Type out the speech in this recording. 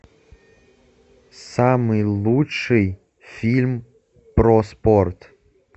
самый лучший фильм про спорт